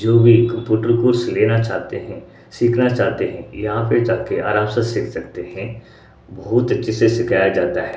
जो भी computer course लेना चाहते हैं सीखना चाहते हैं यहां पे जा के आराम से सीख सकते हैं बहुत अच्छे से सिखाया जाता है।